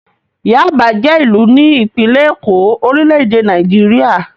Yáàbá jẹ́ ìlú ní ìpínlẹ̀ Èkó, orílẹ̀-èdè Nàìjíríà.